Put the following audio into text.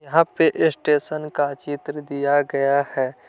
यहा पे स्टेशन का चित्र दिया गया है।